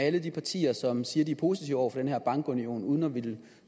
alle de partier som siger at de er positive over for den her bankunion uden at ville